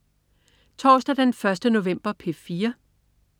Torsdag den 1. november - P4: